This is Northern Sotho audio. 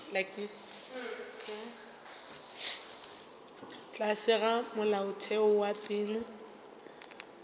tlase ga molaotheo wa pele